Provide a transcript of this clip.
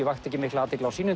vakti ekki mikla athygli á sínum